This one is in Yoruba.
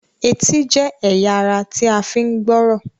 Ẹtì jé ẹyà àrà tí a fi ń gbọ́rọ̀